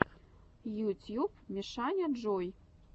ютьюб мишаняджой